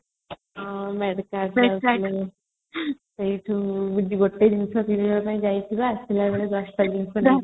ହଁ ଯାଇଥିଲେ ସେଠୁ ଗୋଟେ ଜିନିଷ କିଣିବା ପାଇଁ ଯାଇଥିବା ଆସିଲାବେଳକୁ 10 ଟା ଜିନିଷ ନେଇକି